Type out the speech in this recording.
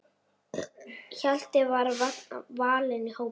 Hjalti var valinn í hópinn.